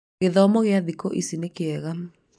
gĩthomo kĩa thĩkũ ici nĩ kĩega